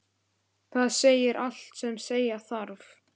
Það segir allt sem segja þarf.